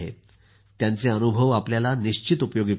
त्यांचे अनुभव आपल्याला खूप उपयोगी पडतील